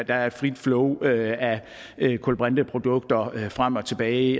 er et frit flow af af kulbrinteprodukter frem og tilbage